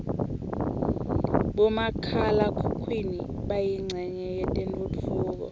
bomakhala khukhwini bayincenye yetentfutfuko